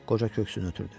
Qoca köksünü ötürdü.